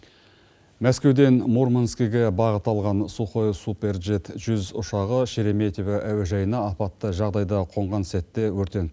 мәскеуден мурманскіге бағыт алған сухой суперджет жүз ұшағы шереметова әуежайына апатты жағдайда қонған сәтте өртеніп